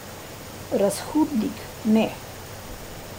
Razhudnik, ne.